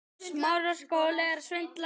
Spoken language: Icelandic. Boði: Og hvernig gekk þar?